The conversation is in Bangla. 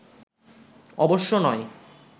অবশ্য নয়